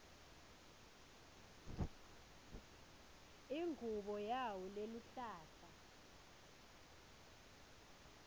ingubo yawo leluhlata